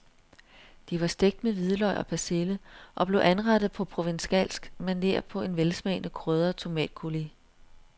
De var stegt med hvidløg og persille og blev anrettet på provencalsk maner på en velsmagende krydret tomatcoulis.